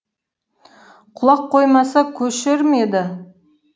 құлақ қоймаса көшер ме еді